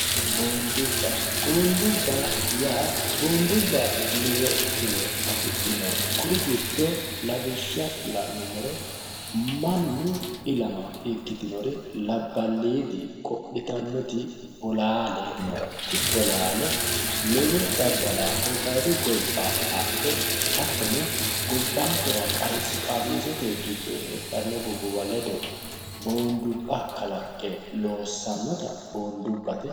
Boondubba. Boondubba yaa lowo tiro afidhino. Kuri giddonno la'numoro mannu ilama ikkitinori labbaaliidi qodhitannoti bolaale no. Gobbayiidi mangiste ledo kalaqqe loossanota boondubba yinanni.